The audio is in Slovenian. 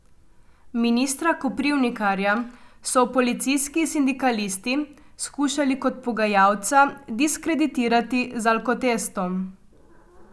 Ministra Koprivnikarja so policijski sindikalisti skušali kot pogajalca diskreditirati z alkotestom.